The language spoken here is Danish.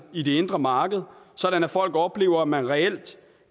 i det indre marked sådan at folk oplever at man reelt